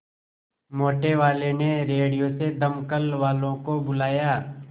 मोटेवाले ने रेडियो से दमकल वालों को बुलाया